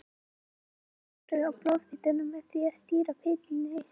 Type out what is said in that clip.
Hægt er að hafa áhrif á blóðfituna með því að stýra fituneyslu.